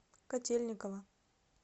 котельниково